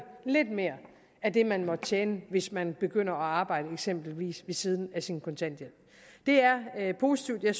lidt mere at det man måtte tjene hvis man begynder at arbejde eksempelvis ved siden af sin kontanthjælp det er positivt jeg